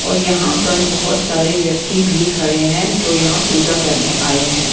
और यहां पर बहोत सारे व्यक्ति भी खड़े हैं जो यहां पूजा करने आए हैं।